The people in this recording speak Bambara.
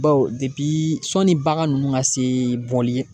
Baw sɔnni bagan ninnu ka se bɔli ye.